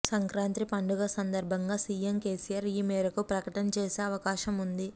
సంక్రాంతి పండుగ సందర్భంగా CM KCR ఈ మేరకు ప్రకటన చేసే అవకాశం ఉంది